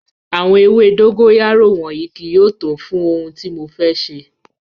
Awọn ewe dogoyaro wọnyi kii yóò to fun ohun ti mo fẹ ṣe